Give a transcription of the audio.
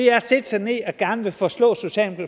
er at sætte sig ned og gerne ville forstå